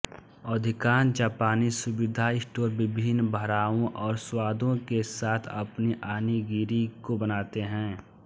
अधिकांश जापानी सुविधा स्टोर विभिन्न भरावों और स्वादों के साथ अपनी ऑनिगिरी को बनाते हैं